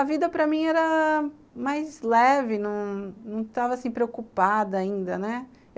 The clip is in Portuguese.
A vida para mim era mais leve, não não estava assim preocupada ainda, né.